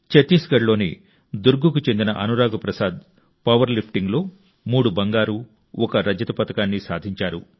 చత్తీస్గఢ్లోని దుర్గ్కు చెందిన అనురాగ్ ప్రసాద్ పవర్లిఫ్టింగ్లో మూడు బంగారు ఒక రజత పతకాన్ని సాధించారు